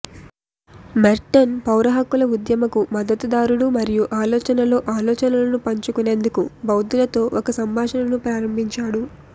Merton పౌర హక్కుల ఉద్యమకు మద్దతుదారుడు మరియు ఆలోచనలో ఆలోచనలను పంచుకునేందుకు బౌద్ధులతో ఒక సంభాషణను ప్రారంభించాడు